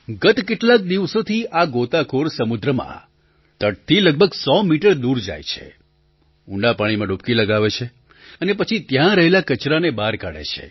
ગત કેટલાક દિવસોથી આ ગોતાખોર સમુદ્રમાં તટથી લગભગ ૧૦૦ મીટર દૂર જાય છે ઊંડા પાણીમાં ડૂબકી લગાવે છે અને પછી ત્યાં રહેલા કચરાને બહાર કાઢે છે